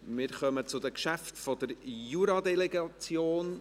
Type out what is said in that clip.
Wir kommen zu den Geschäften der Juradelegation.